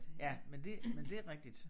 Ja men det men det rigtigt